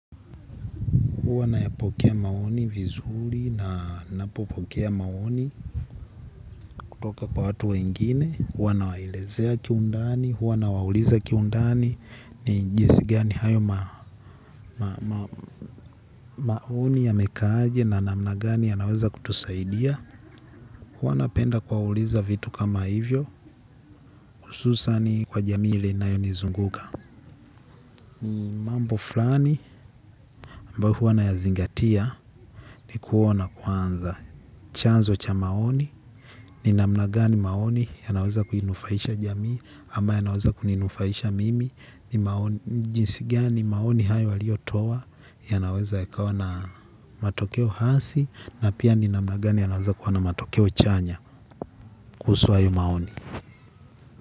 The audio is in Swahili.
Huwa nayapokea maoni vizuri na ninapopokea maoni kutoka kwa watu wengine. Huwa nawaelezea kiundani, huanawauliza kiundani. Ni jinsi gani hayo maoni ya mekaaje na namna gani yanaweza kutusaidia. Huwa napenda kwauliza vitu kama hivyo. Ususan kwa ile jamii ambayo inanizunguka ni mambo fulani ambao huwa nayazingatia ni kuona kwanza. Chanzo cha maoni ni namna gani maoni yanaweza kuninufaisha jamii ama yanaweza kuninufaisha mimi ni jinsi gani maoni hayo waliotoa yanaweza yakawa na matokeo halisi na pia ni namna gani yanaweza kuwa na matokeo chanya kuhusu hayo maoni.